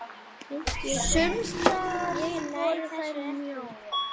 Sums staðar voru þær mjóar.